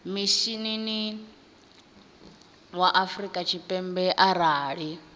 mishinini wa afrika tshipembe arali